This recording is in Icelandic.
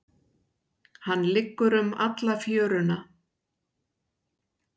Hann liggur um alla fjöruna.